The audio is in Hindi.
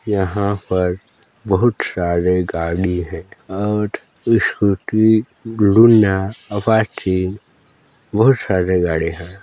यहाँ पर बहुत सारे गाड़ी है और स्कूटी लूना अपाची बहुत सारॆ गाड़ी हैं।